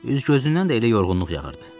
Üz-gözündən də elə yorğunluq yağırdı.